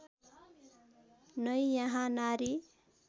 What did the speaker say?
नै यहाँ नारी